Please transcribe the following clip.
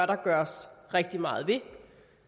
der gøres rigtig meget ved